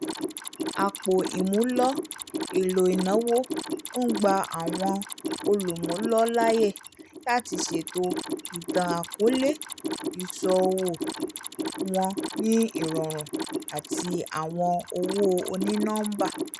àpò ìmúlò èlò ìnáwó n gbà awọn olumulo láàyè lati ṣètò itan-akọọlẹ ìṣòwò wọn ni irọrun ati awọn owó oni-nọmba